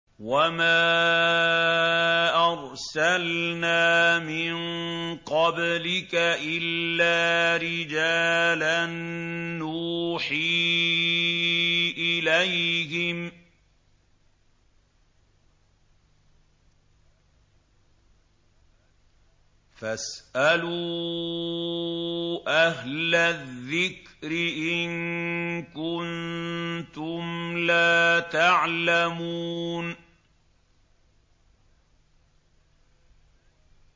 وَمَا أَرْسَلْنَا مِن قَبْلِكَ إِلَّا رِجَالًا نُّوحِي إِلَيْهِمْ ۚ فَاسْأَلُوا أَهْلَ الذِّكْرِ إِن كُنتُمْ لَا تَعْلَمُونَ